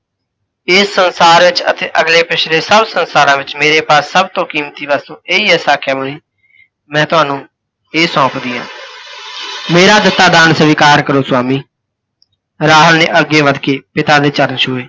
ਇਸ ਸੰਸਾਰ ਵਿੱਚ ਅਤੇ ਅਗਲੇ ਪਿੱਛਲੇ ਸੱਭ ਸੰਸਾਰਾਂ ਵਿੱਚ ਮੇਰੇ ਪਾਸ ਸੱਭ ਤੋਂ ਕੀਮਤੀ ਵਸਤੂ ਇਹੀ ਹੈ ਸਾਕਯ ਮੁੰਨੀ, ਮੈਂ ਤੁਹਾਨੂੰ ਇਹ ਸੋਂਪਦੀ ਆਂ । ਮੇਰਾ ਦਿੱਤਾ ਦਾਨ ਸਵੀਕਾਰ ਕਰੋ ਸੁਆਮੀ। ਰਾਹੁਲ ਨੇ ਅੱਗੇ ਵੱਧਕੇ ਪਿਤਾ ਦੇ ਚਰਣ ਛੂਹੇ।